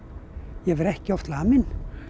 ég var ekki oft lamin